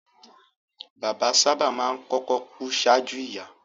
Bàbá sábà máa ń kọ́kọ́ ku ṣáájú ìyá